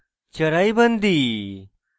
charaibandi